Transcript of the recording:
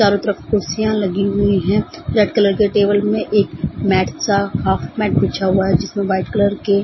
चारों तरफ कुर्सियां लगी हुई हैं रेड कलर के टेबल में एक मैट सा हॉफ मैट बिछा हुआ है जिसमें व्हाइट कलर के --